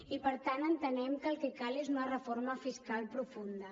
i per tant entenem que el que cal és una reforma fiscal profunda